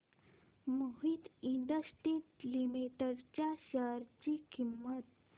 Mohit industries limited च्या share ची किंमत